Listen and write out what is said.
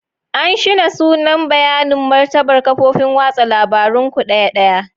An shine sunan bayanin martabar kafofin watsa labarun ku ɗaya ɗaya.